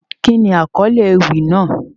Kíni akọle ewi naa?